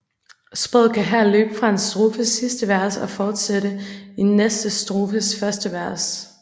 Sproget kan her løbe fra en strofes sidste vers og forsætte i næste strofes første vers